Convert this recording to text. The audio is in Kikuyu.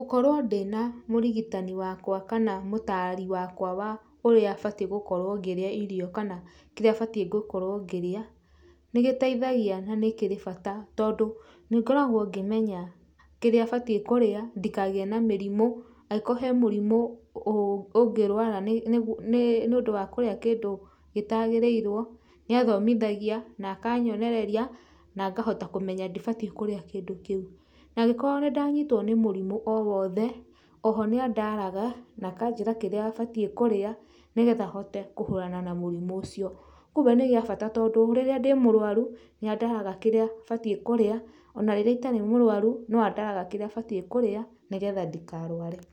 Gũkorwo ndĩna mũrigitani wakwa kana mũtari wakwa wa ũrĩa batiĩ gũkorwo ngĩrĩa irio kana kĩrĩa batiĩ gũkorwo ngĩrĩa, nĩ gĩteithagia na nĩ kĩrĩ bata tondũ nĩngoragwo ngĩmenya kĩrĩa batiĩ kũrĩa ndikagĩe na mĩrimũ, agĩkoo he mĩrimũ ũngirwara nĩũndũ wa kũrĩa kĩndũ gĩtagĩrĩirwo, nĩathomithagia na akanyonereria na ngahota kũmenya ndibatiĩ kũrĩa kĩndũ kĩu. Nagĩkorwo nĩndanyitwo nĩ mũrimũ o wothe, oho nĩ andaraga nakanjĩra kĩrĩa batiĩ kũrĩa nĩgetha hote kũhũrana na mũrimũ ũcio. kumbe nĩ gĩa bata tondũ rĩrĩa ndĩ mũrwaru nĩ andaraga kĩrĩa batiĩ kũrĩa ona rĩrĩa itarĩ mũrwaru no andaraga kĩrĩa batiĩ kũrĩa nĩgetha ndikarware.